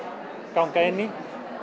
ganga inn í